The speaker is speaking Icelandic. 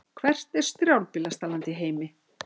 Hvert er strjálbýlasta land í heimi?